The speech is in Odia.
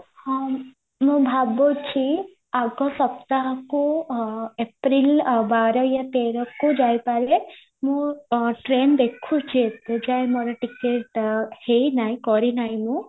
ହଁ ମୁଁ ଭାବୁଚି ଆଗ ସପ୍ତାହକୁ april ବାର ୟା ତେରକୁ ଯାଇପାରେ ମୁଁ train ଦେଖୁଚି ଏବେଯାଏ ମୋର ticket ହେଇନାହି କରିନାହି ମୁଁ